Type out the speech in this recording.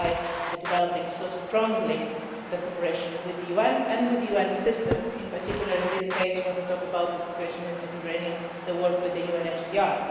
That is why we are developing such strong cooperation with the UN and with the UN system, and, particularly in this case, when we talk about the situation in the Mediterranean, the work with the